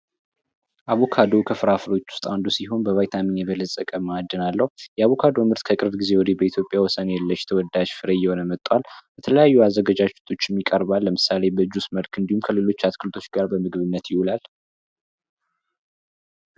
አቦካዶ ከፍራፍሬ አይነቶች ውስጥ አንዱ ሲሆን አቦካዶ በማዕድን የበለፀገ ምግብ ነው። የአቦካዶ ምርት ከቅርብ ጊዜ ወዲህ በኢትዮጵያ ውስጥ ወሰን የለሽ ተወዳጅ ምግብ እየሆነ መጧል። በተለያዩ አዘገጃጀቶችም ይቀርባል ለምሳሌ በጁስ ወይም ከሌሎች አትክልቶች ጋር ለምግብነት ይውላል።